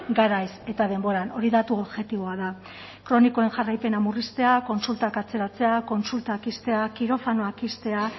garaiz eta denboran hori datu objektiboa da kronikoen jarraipena murriztea kontsultak atzeratzea kontsultak ixtea kirofanoak ixtea